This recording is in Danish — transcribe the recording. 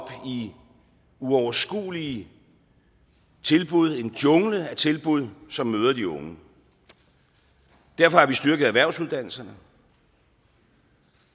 i uoverskuelige tilbud en jungle af tilbud som møder de unge derfor har vi styrket erhvervsuddannelserne